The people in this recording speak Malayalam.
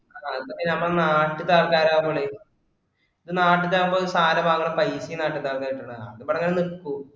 അതെ സമയം നമ്മുടെ നാട്ടിലെത്തെ ആൾക്കാര് ആകുമ്പോഴേ, നാട്ടിലാകുമ്പോ ഒരു സാധനം വാങ്ങണ പൈസയും നാട്ടുകാർക്കായിട്ടുള്ളതാണ്. ആ അതിപ്പോ അങ്ങിനെ നിൽക്കും.